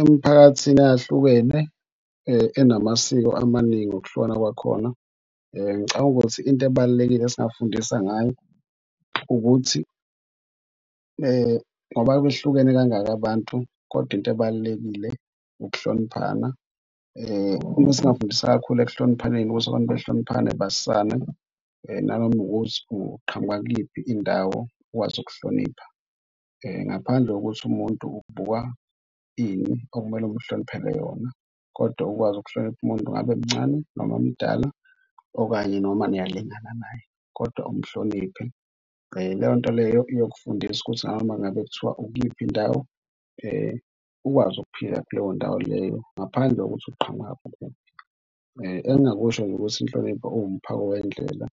Emphakathini eyahlukene enamasiko amaningi, ngokuhlukana kwakhona ngicabanga ukuthi into ebalulekile esingafundisa ngayo ukuthi ngoba behlukene kangaka abantu kodwa into ebalulekile ukuhloniphana. Uma singafundisa kakhulu ekuhloniphaneni ukuthi abantu bahloniphane bazisane nanoma ukuthi uqhamuka kuyiphi indawo ukwazi ukuhlonipha ngaphandle kokuthi umuntu ukubukwa ini okumele umhloniphele yona kodwa ukwazi ukuhlonipha umuntu ngabe mncane noma mdala okanye noma niyalingana naye kodwa umhloniphe. Leyo nto leyo iyakufundisa ukuthi noma ngabe kuthiwa ukuyiphi indawo ukwazi ukuphila kuleyo ndawo leyo ngaphandle kokuthi uqhamuka kuphi. Engingakusho nje ukuthi hlonipha iwumphako wendlela